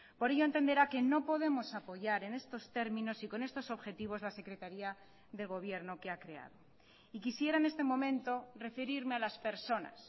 por ello entenderá que no podemos apoyar en estos términos y con estos objetivos la secretaría de gobierno que ha creado y quisiera en este momento referirme a las personas